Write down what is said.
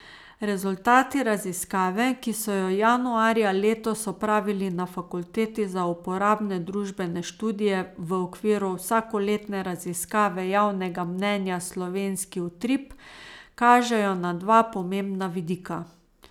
Rezultati raziskave, ki so jo januarja letos opravili na fakulteti za uporabne družbene študije v okviru vsakoletne raziskave javnega mnenja Slovenski utrip, kažejo na dva pomembna vidika.